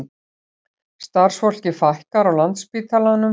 Starfsfólki fækkar á Landspítalanum